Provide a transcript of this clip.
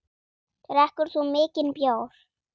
Drekkur þú mikinn bjór?